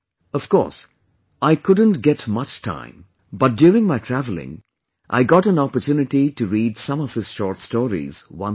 Of course, I couldn't get much time, but during my travelling, I got an opportunity to read some of his short stories once again